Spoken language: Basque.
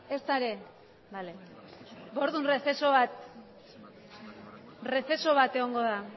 ezta ere bale orduan errezeso bat egongo da